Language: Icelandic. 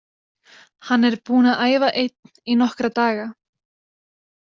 Hann er búinn að æfa einn í nokkra daga.